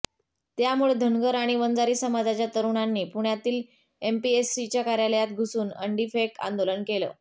त्यामुळे धनगर आणि वंजारी समाजाच्या तरुणांनी पुण्यातील एमपीएससीच्या कार्यालयात घुसून अंडीफेक आंदोलन केलं